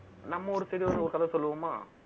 நம்ம ஒரு side ல வந்து, ஒரு கதை சொல்லுவோமா